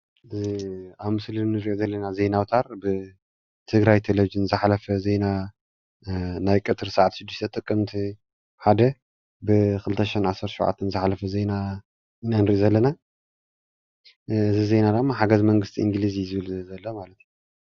ኣብ ምስሊ እንሪኦ ዘለና ዜናታት ብትግራይ ተሌቭዥን ዝሓለፈ ዜና ናይ ቀትሪ ሰዓት 6፡00 ጥቅመቲ 01/2017 ዝሓለፈ ዜና ኢና ንርኢ ዘለና፡፡ እዚ ዜና ድማ ሓገዝ መንግስቲ እንግለዝ እዩ ዝብል ዘሎ ማለት እዩ፡፡